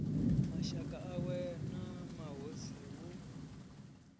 mashaka awe na mahosi hu